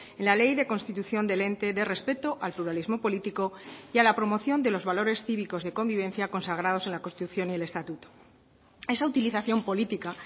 en la ley de constitución del ente de respeto al pluralismo político y a la promoción de los valores cívicos de convivencia consagrados en la constitución y el estatuto esa utilización política